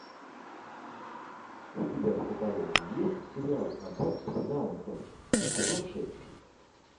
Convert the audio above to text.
у тебя в каталоге есть сериал аббатство даунтон сезон шесть